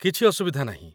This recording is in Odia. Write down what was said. କିଛି ଅସୁବିଧା ନାହିଁ ।